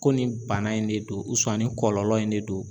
Ko nin bana in de don ni kɔlɔlɔ in de don